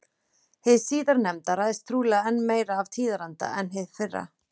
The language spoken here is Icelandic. Hið síðarnefnda ræðst trúlega enn meira af tíðaranda en hið fyrra.